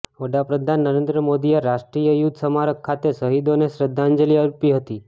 વડા પ્રધાન નરેન્દ્ર મોદીએ રાષ્ટ્રીય યુદ્ધ સ્મારક ખાતે શહીદોને શ્રદ્ધાંજલિ અર્પી હતી